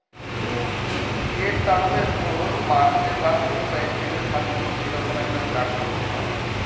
date তাহলে তোর march এর last week বা april এর first week এরকম একটা start করবো ভাবছি।